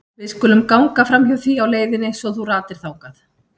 Við skulum ganga framhjá því á leiðinni svo þú ratir þangað.